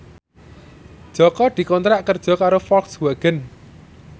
Jaka dikontrak kerja karo Volkswagen